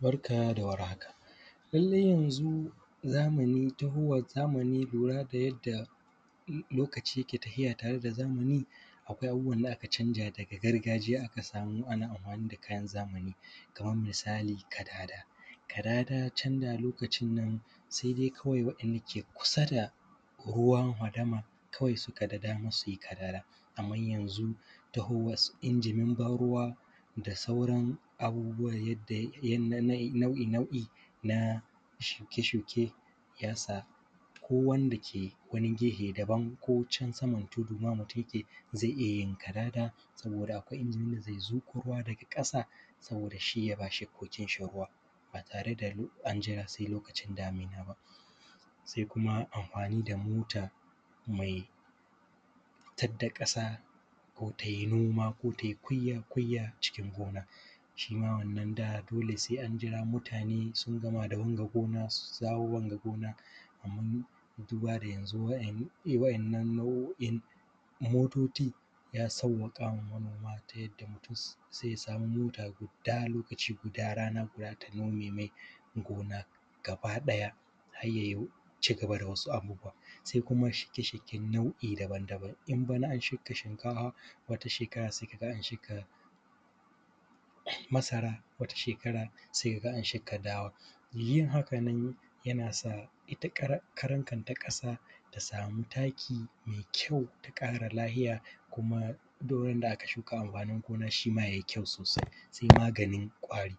Barka da warhaka lallai yanzu zamani taguwar zamani lura da yadda lokaci ke tahiya tare da zamani, akwai abubuwan da aka canja daga gargajiya za ka samu ana anhwani da kayan zamani kaman misali kadada, kadada can lokacin nan sai da kawai waɗanda suke kusa da fadama suke da daman amfani da kadada. Amman yanzu tahowan su injin ban ruwa da sauran abubuwan nau’i-nau’i na shuke-shuke ya sa ko wanda ke wani gefe can daban ko wanda ke can saman tudu zai iya yin kadada saboda akwai injin da zai zuƙo ruwa can daga ƙasa shi ya ba shukokin sa ruwa ba tare da an jira sai lokacin damina ba. Sai kuma amhwani da mota mai fita da ƙasa ko tai noma ko tai kuyya-kuyya cikin gona shi ma wannan da dole sai an jira mutane sun gama da wanga gona sun dawo wanga gona, amma zuwa ga yanzu waɗannan nau’o’in motoci ya sawwaka wa manoma ta yadda mutun zai samu mota guda lokaci guda rana guda ta nome mai gona gaba-ɗaya. Har yan cigaba da wasu abubuwan sai kuma shuke-shuken nau’i daban-daban in bana an shuka shikafa wata shekaran sai ka ga an shuka masara wata shekara sai ka ga an shuka dawa, yin hakanan yana sa ita karan kanta ƙasa ta sami taki mai kyau ta ƙara lafiya kuma duk randa aka shuka amhwanin gona shi ma yai kyau sosai. Sai maganin ƙwari,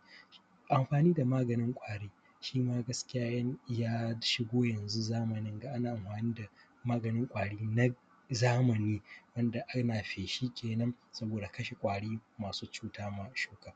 anhwani da maganin ƙwari shima gaskiya ya shigo yanzu zamanin da ana amhwani da maganin kwari na zamani wanda ana feshi kenan saboda kashe kwari masu cuta ma shuka.